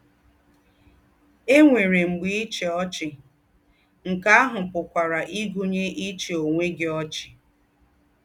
È nwéré “m̀gbè íchí ọ́chì” — nké àhù pùkwàrà ígụ̀nyé íchí ònwé gí ọ́chì!